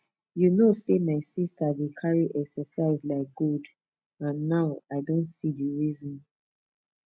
you know sey my sister dey carry exercise like gold and now i don see the reason